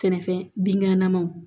Sɛnɛfɛn binkannaw